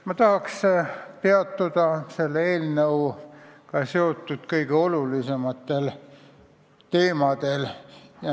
Ma tahan peatuda selle eelnõuga seotud kõige olulisematel teemadel.